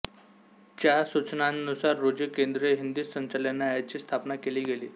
च्या सूचनांनुसार रोजी केंद्रीय हिंदी संचालनालयाची स्थापना केली गेली